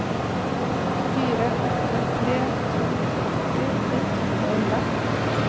fire åtte tre to åtti ett hundre og elleve